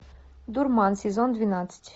дурман сезон двенадцать